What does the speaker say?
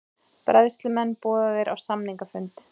Bræðslumenn boðaðir á samningafund